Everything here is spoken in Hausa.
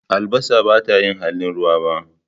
Albasa, bata yi halin ruwa ba.